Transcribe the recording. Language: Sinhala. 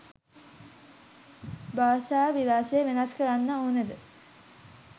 භාෂා විලාසය වෙනස් කරන්න ඕනද?